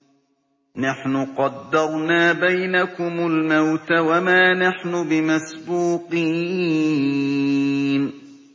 نَحْنُ قَدَّرْنَا بَيْنَكُمُ الْمَوْتَ وَمَا نَحْنُ بِمَسْبُوقِينَ